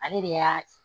Ale de y'a